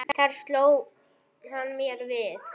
Þar sló hann mér við.